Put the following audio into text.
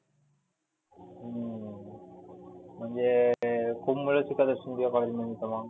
हम्म म्हणजे खुप मुले शिकत असतील मग तुझ्या college मध्ये तर मग.